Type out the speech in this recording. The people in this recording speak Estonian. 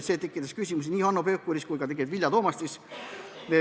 See tekitas küsimusi nii Hanno Pevkuril kui ka Vilja Toomastil.